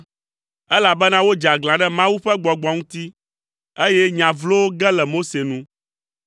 Elabena wodze aglã ɖe Mawu ƒe Gbɔgbɔ ŋuti, eye nya vlowo ge le Mose nu.